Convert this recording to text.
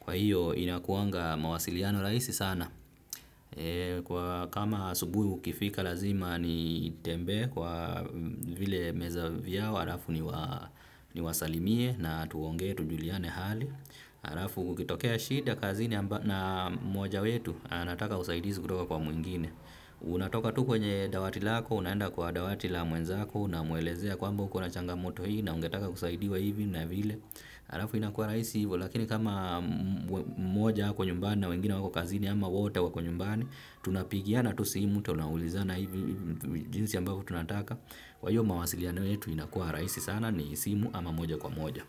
Kwa hiyo inakuanga mawasiliano rahisi sana. Kwa kama asubuhi ukifika lazima nitembee kwa vile meza vyao, halafu niwasalimie na tuongee tujuliane hali. Halafu kukitokea shida kazini na mmoja wetu anataka usaidizi kutoka kwa mwingine unatoka tu kwenye dawati lako, unaenda kwa dawati la mwenzako unamwelezea kwamba uko na changamoto hii na ungetaka kusaidiwa hivi na vile halafu inakua rahisi hivo lakini kama mmoja ako nyumbani na wengine wako kazini ama wote wako nyumbani tunapigiana tu simu tunaulizana hivi jinsi ambavyo tunataka kwa hiyo mawasiliano yetu inakua rahisi sana ni simu ama moja kwa moja.